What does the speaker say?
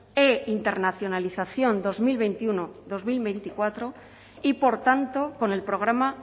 e internacionalización dos mil veintiuno dos mil veinticuatro y por tanto con el programa